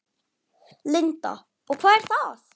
Linda: Og hvað er það?